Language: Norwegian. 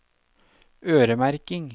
øremerking